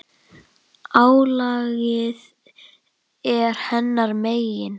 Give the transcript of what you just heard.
Álagið er hennar megin.